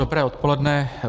Dobré odpoledne.